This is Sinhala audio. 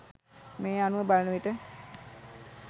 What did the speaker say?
මේ අනුව බලනවිට